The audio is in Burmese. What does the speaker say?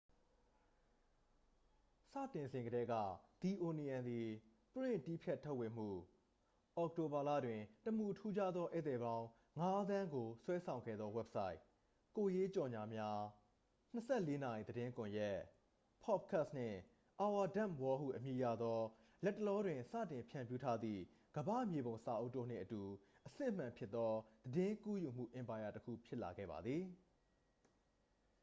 စတင်စဉ်ကတည်းက၊ the onion သည် ပရင့်တည်းဖြတ်ထုတ်ဝေမှု၊ အောက်တိုဘာလတွင် တမူထူးခြားသောဧည့်သည်ပေါင်း ၅,၀၀၀,၀၀၀ ကိုဆွဲဆောင်ခဲ့သောဝဘ်ဆိုက်၊ ကိုယ်ရေးကြော်ငြာများ၊ ၂၄ နာရီသတင်းကွန်ရက်၊ ပေါ့ဒ်ကတ်စ်၊ နှင့် our dumb world ဟုအမည်ရသော လတ်တလောတွင် စတင်ဖြန့်ဖြူးထားသည့် ကမ္ဘာ့မြေပုံစာအုပ်တို့နှင့်အတူ အစစ်အမှန်ဖြစ်သော သတင်းကူးယူမှုအင်ပါယာတစ်ခု ဖြစ်လာခဲ့ပါသည်။